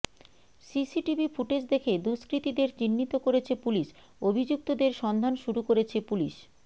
CCTV footage দেখে দুষ্কৃতীদের চিহ্নিত করেছে পুলিশ অভিযুক্তদের সন্ধান শুরু করেছে পুলিশ